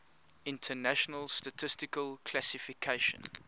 international statistical classification